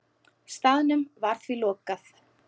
Staðnum var því lokað.